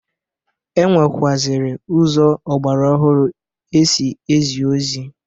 E nwekwụazịrị ụzọ ọgbara ọhụrụ e si ezi ozi.